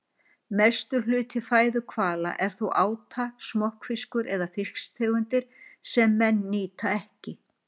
Mestur hluti fæðu hvala er þó áta, smokkfiskur eða fisktegundir sem menn nýta ekki.